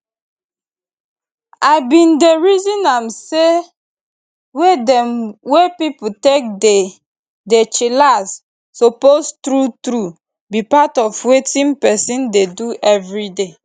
i bin dey reason am say way dem wey pipo take dey dey chillax suppose true true be part of wetin peson dey do everyday